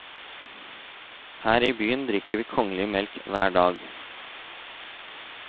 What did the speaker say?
Her i byen drikker vi kongelig melk hver dag.